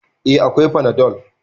Eh, akwai fanadol